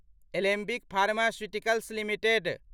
Alembic pharmaceuticals limited